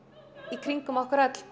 í kringum okkur öll